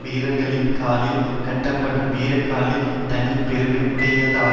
வீரர்களின் காலில் கட்டப்படும் வீரக்கழல் தனி பெருமை உடையதாகும்